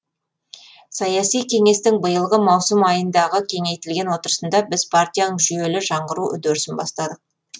саяси кеңестің биылғы маусым айындағы кеңейтілген отырысында біз партияның жүйелі жаңғыру үдерісін бастадық